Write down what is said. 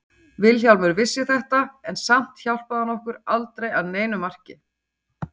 Vilhjálmur vissi þetta en samt hjálpaði hann okkur aldrei að neinu marki.